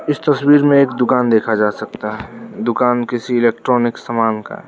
इस तस्वीर में एक दुकान देखा जा सकता है दुकान किसी इलेक्ट्रॉनिक सामान का है।